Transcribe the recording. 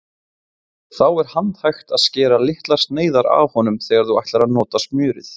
Þá er handhægt að skera litlar sneiðar af honum þegar þú ætlar að nota smjörið.